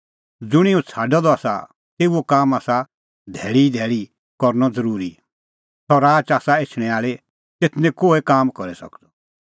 ज़ुंणी हुंह छ़ाडअ द आसा तेऊओ काम आसा धैल़ी ई धैल़ी करनअ ज़रूरी सह राच आसा एछणैं आल़ी तेथ निं कोहै काम करी सकदअ